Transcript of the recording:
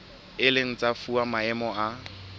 ileng tsa fuwa maemo a